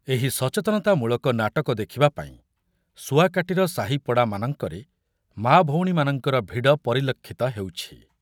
ଏହି ସଚେତନତାମୂଳକ ନାଟକ ଦେଖିବା ପାଇଁ ଶୁଆକାଟୀର ସାହି ପଡାମାନଙ୍କରେ ମା' ଭଉଣୀମାନଙ୍କର ଭିଡ ପରିଲକ୍ଷିତ ହେଉଛି।